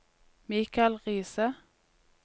Mikael Riise